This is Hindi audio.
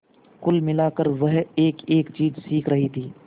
कुल मिलाकर वह एकएक चीज सीख रही थी